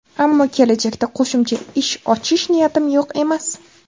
Ammo kelajakda qo‘shimcha ish ochish niyatim yo‘q emas.